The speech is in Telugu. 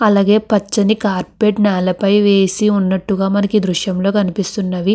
అలగే పచని కార్పెట్ నెల పై వేసినట్టు ఉనట్టుగా మనకు దృశ్యంలో కనిపెస్తునది మనకు.